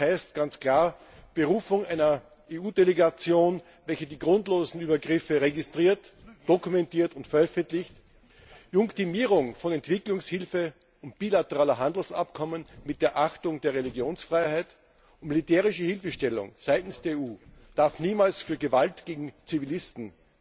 Das heißt ganz klar Berufung einer EU Delegation, welche die grundlosen Übergriffe registriert, dokumentiert und veröffentlicht, Junktimierung von Entwicklungshilfe und bilateraler Handelsabkommen mit der Achtung der Religionsfreiheit, militärische Hilfestellung seitens der EU darf niemals für Gewalt gegen Zivilisten